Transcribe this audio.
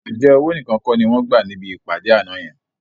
Ǹjẹ́ owó nìkan kọ́ ni wọ́n gbà níbi ìpàdé àná yẹn?